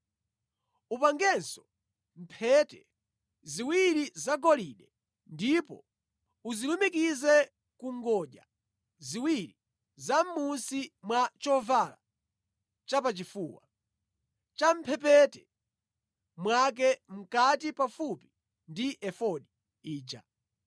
Upangenso mphete ziwiri zagolide, ndipo uzilumikize ku ngodya ziwiri zamʼmunsi mwa chovala chapachifuwa, champhepete mwake, mʼkati pafupi ndi efodi ija.